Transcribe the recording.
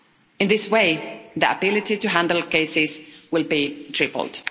In this way, the ability to handle cases will be tripled.